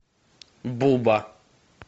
буба